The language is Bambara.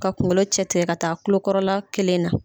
Ka kunkolo cɛtigɛ ka taa tulokɔrɔla kelen na.